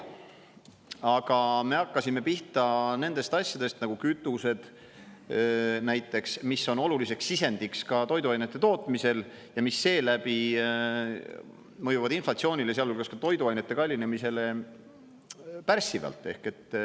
Aga me hakkasime pihta nendest asjadest nagu kütused, näiteks, mis on oluliseks sisendiks ka toiduainete tootmisel ja mis seeläbi mõjuvad inflatsioonile, sealhulgas ka toiduainete kallinemisele, pärssivalt.